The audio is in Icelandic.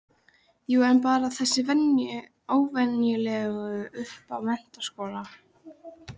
Jú en bara þessa venjulegu upp að menntaskóla.